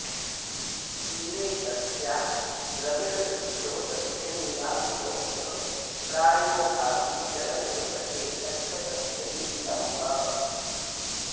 तीरे तस्या द्रमिडसुदृशो दर्शनीया विलोक्य प्रायो भावी क्षणमिव सखे गच्छतस्ते विलम्बः